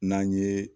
N'an ye